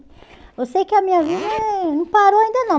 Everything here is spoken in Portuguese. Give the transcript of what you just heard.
Eu sei que a minha vida não parou ainda não.